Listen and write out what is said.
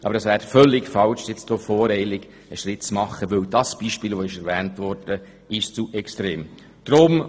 Aber es wäre völlig falsch, voreilig einen Schritt zu machen, weil das Beispiel, das erwähnt wurde, zu extrem ist.